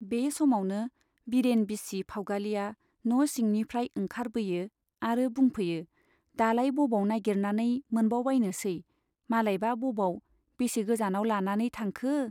बे समावनो बिरेन बिसि फाउगालिया न' सिंनिफ्राय ओंखारबोयो आरो बुंफैयो दालाय बबाव नाइगिरनानै मोनबायबायनोसै , मालायबा बबाव , बेसे गोजानाव लानानै थांखो !